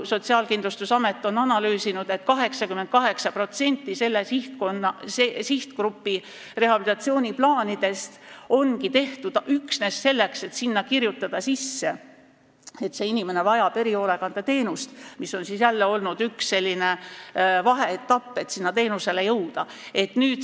Sotsiaalkindlustusamet on analüüsinud, et 88% selle sihtgrupi rehabilitatsiooniplaanidest ongi tehtud üksnes selleks, et kirjutada sinna, et see inimene vajab erihoolekandeteenust, mis on jälle olnud üks vaheetapp, et seda teenust saama hakata.